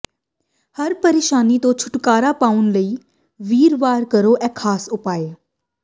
ਹਰ ਪ੍ਰੇਸ਼ਾਨੀ ਤੋਂ ਛੁਟਕਾਰਾ ਪਾਉਣ ਲਈ ਵੀਰਵਾਰ ਕਰੋ ਇਹ ਖਾਸ ਉਪਾਅ